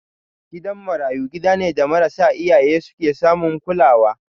Gidan marayu gida ne da marasa iyaye su ke samun kulawa.